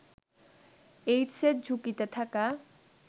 এইডসের ঝুঁকিতে থাকা